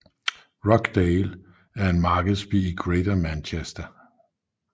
Rochdale er en markedsby i Greater Manchester